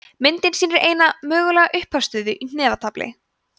myndin sýnir eina mögulega upphafsstöðu í hnefatafli